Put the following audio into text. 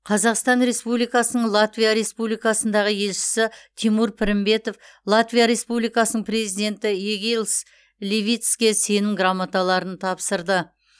қазақстан республикасының латвия республикасындағы елшісі тимур пірімбетов латвия республикасының президенті эгилс левитске сенім грамоталарын тапсырды